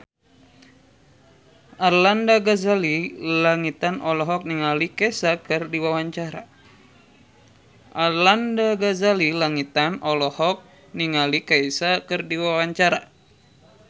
Arlanda Ghazali Langitan olohok ningali Kesha keur diwawancara